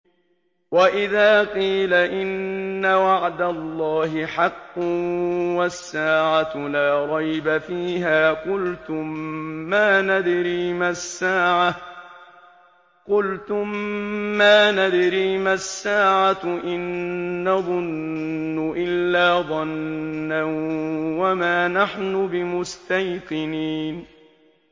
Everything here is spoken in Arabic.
وَإِذَا قِيلَ إِنَّ وَعْدَ اللَّهِ حَقٌّ وَالسَّاعَةُ لَا رَيْبَ فِيهَا قُلْتُم مَّا نَدْرِي مَا السَّاعَةُ إِن نَّظُنُّ إِلَّا ظَنًّا وَمَا نَحْنُ بِمُسْتَيْقِنِينَ